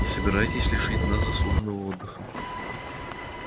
не собираетесь лишить нас заслуженного отдыха